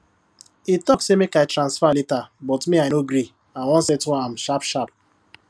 e talk say make i transfer later but me i no gree i wan settle am sharpsharp